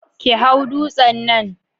Ki hau dutsen nan